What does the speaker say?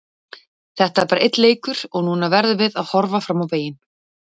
Þetta er bara einn leikur og núna verðum við að horfa fram á veginn.